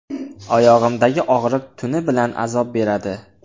Oyog‘imdagi og‘riq tuni bilan azob beradi.